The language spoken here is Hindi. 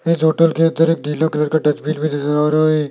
होटल के तरफ गिला कलर का डस्टबिन भी नजर आ रहा है।